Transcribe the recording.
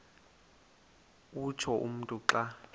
utsho umntu xa